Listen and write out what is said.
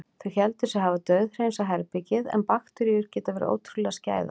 Þau héldu sig hafa dauðhreinsað herbergið- en bakteríur geta verið ótrúlega skæðar.